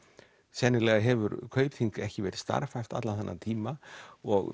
sennilega hefur Kaupþing ekki verið starfhæft allan þennan tíma og